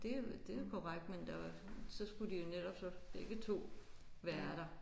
Det det er korrekt men der var så skulle de jo netop så begge 2 være der